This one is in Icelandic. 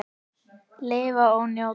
Lifa og njóta.